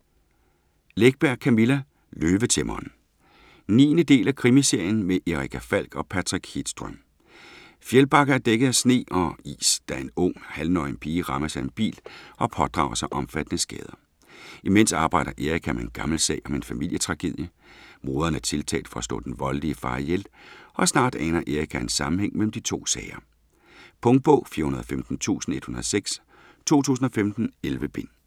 Läckberg, Camilla: Løvetæmmeren 9. del af krimiserien med Erica Falck og Patrik Hedström. Fjällbacka er dækket af sne og is, da en ung, halvnøgen pige rammes af en bil og pådrager sig omfattende skader. Imens arbejder Erica med en gammel sag om en familietragedie; moderen er tiltalt for at slå den voldelige far ihjel, og snart aner Erica en sammenhæng mellem de to sager. Punktbog 415106 2015. 11 bind.